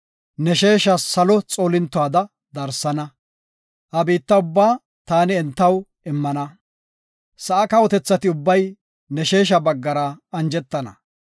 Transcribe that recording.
Ne sheesha salo xoollintoda darsana, ha biitta ubba taani entaw immana. Sa7a kawotethati ubbay ne sheesha baggara anjetana.